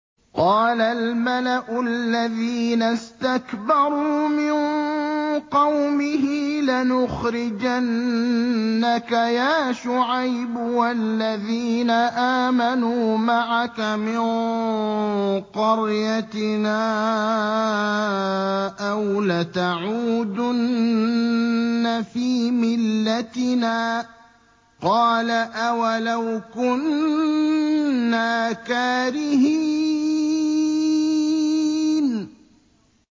۞ قَالَ الْمَلَأُ الَّذِينَ اسْتَكْبَرُوا مِن قَوْمِهِ لَنُخْرِجَنَّكَ يَا شُعَيْبُ وَالَّذِينَ آمَنُوا مَعَكَ مِن قَرْيَتِنَا أَوْ لَتَعُودُنَّ فِي مِلَّتِنَا ۚ قَالَ أَوَلَوْ كُنَّا كَارِهِينَ